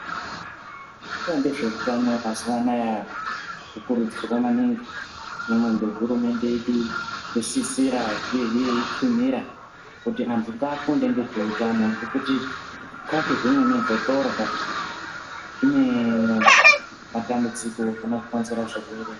Vanoita ngezveutano mazuwanaya vokurudzirwa maningi kunyangwe nehurumende yedu yosisira uyehe yeitsinhira kuti antu ngaafunde ngezveutano ngekuti zvikafu zvimweni zvotorya zvinematambudziko anokonzerwa zvirwere.